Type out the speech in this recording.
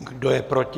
Kdo je proti?